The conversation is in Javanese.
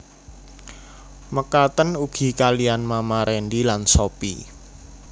Mekaten ugi kaliyan Mama Rendy lan Sophie